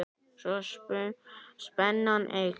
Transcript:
Svo spennan eykst.